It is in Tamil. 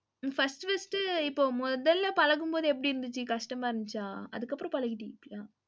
first first இப்ப முதல்ல பழகும்போது எப்படி இருந்துச்சு? கஷ்டமாயிருந்துச்சா? அதுக்கப்புறம் பழகீடீன்களா?